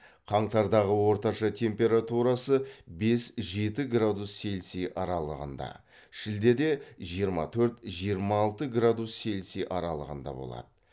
қаңтардағы орташа температурасы бес жеті градус цельсий аралығында шілдеде жиырма төрт жиырма алты градус цельсий аралығында болады